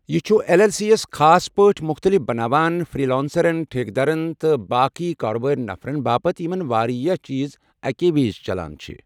یہِ چھُ L L C یَس خاص پٲٹھۍ مُختٔلِف بناوان فری لانسرَن، ٹھیکٕدرن تہٕ باقی کاربٲری نفرَن باپتھ یِمن واریٛاہ چیٖز اَکی وِزِ چلان۔